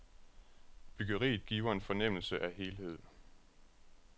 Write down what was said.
Byggeriet giver en fornemmelse af helhed.